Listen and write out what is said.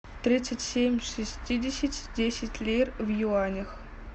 тридцать семь шестидесяти десять лир в юанях